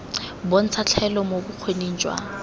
bontsha tlhaelo mo bokgoning jwa